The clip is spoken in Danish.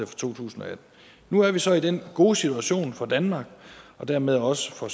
tusind og atten nu er vi så i den gode situation for danmark og dermed også for